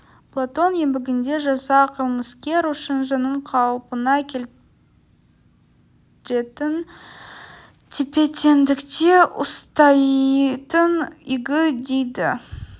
платон еңбегінде жаза қылмыскер үшін жанын қалпына келтіретін тепе-теңдікте ұстайтын игі дейді